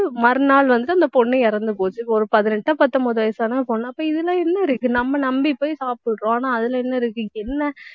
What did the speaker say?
மறுநாள் வந்து அந்தப் பொண்ணு இறந்து போச்சு. ஒரு பதினெட்டோ பத்தொன்பதோ வயசான பொண்ணு அப்ப இதில என்ன இருக்கு நம்ம நம்பிப்போய் சாப்பிடுறோம். ஆனா அதில என்ன இருக்கு என்ன